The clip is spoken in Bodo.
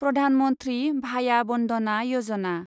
प्रधान मन्थ्रि भाया बन्दना यजना